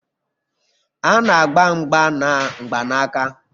A na-agba mgba na mgbanaka